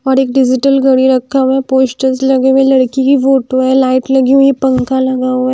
और एक डिजिटल घड़ी रखा हुआ है पोश्टर्स लगे हुए लड़की की फोटो है लाइट लगी हुई है पंखा लगा हुआ है।